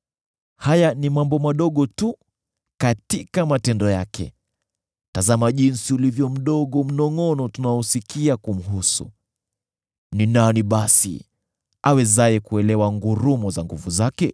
Haya ni mambo madogo tu katika matendo yake; tazama jinsi ulivyo mdogo mnongʼono tunaousikia kumhusu! Ni nani basi awezaye kuelewa ngurumo za nguvu zake?”